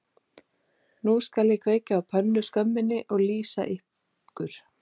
Nú skal ég kveikja á pönnuskömminni og lýsa ykkur